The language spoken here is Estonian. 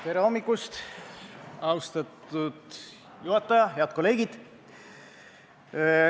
Tere hommikust, austatud juhataja ja head kolleegid!